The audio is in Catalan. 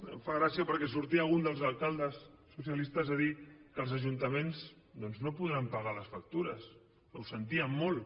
em fa gràcia perquè sortia un dels alcaldes socialistes a dir que els ajuntaments doncs no podran pagar les factures que ho sentien molt